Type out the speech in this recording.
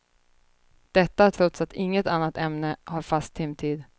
Detta trots att inget annat ämne har fast timtid.